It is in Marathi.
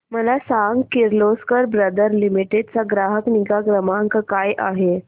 मला सांग किर्लोस्कर ब्रदर लिमिटेड चा ग्राहक निगा क्रमांक काय आहे